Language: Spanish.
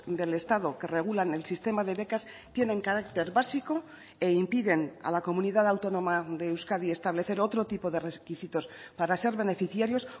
del estado que regulan el sistema de becas tienen carácter básico e impiden a la comunidad autónoma de euskadi establecer otro tipo de requisitos para ser beneficiarios